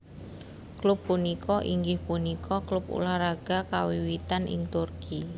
Klub punika inggih punika klub ulah raga kawiwitan ing Turki